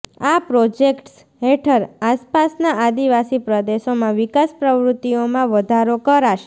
આ પ્રોજેક્ટ્સ હેઠળ આસપાસના આદિવાસી પ્રદેશોમાં વિકાસ પ્રવૃત્તિઓમાં વધારો કરાશે